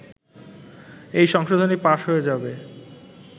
এই সংশোধনী পাশ হয়ে যাবে